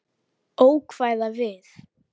Ókvæða við